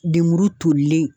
Lemuru tolilen.